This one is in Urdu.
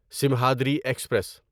سمہادری ایکسپریس